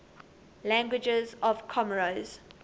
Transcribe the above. languages of comoros